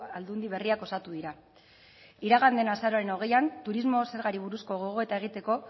aldundi berriak osatu dira iragan den azaroaren hogeian turismo zergari buruzko gogoeta egiteko